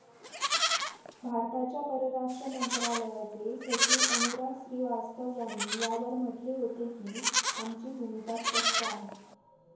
भारताच्या परराष्ट्र मंत्रालयाचे सचिव अनुराग श्रीवास्तव यांनी यावर म्हटले होते की, आमची भूमिका स्पष्ट आहे.